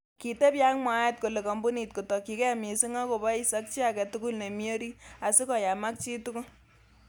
Kitebi ak mwaet kole kompunit kotokyin gee missing kobois ak chi agetugul nemi orit, asikoyamak chitugul.